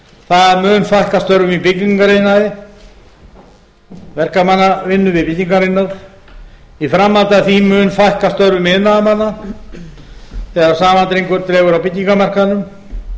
það mun fækka störfum í byggingariðnaði verkamannavinnu við byggingariðnað í framhaldi af því mun fækka störfum iðnaðarmanna þegar saman dregur á byggingarmarkaðnum